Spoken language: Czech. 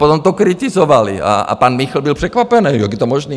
Potom to kritizovaly a pan Michl byl překvapený, jak je to možné.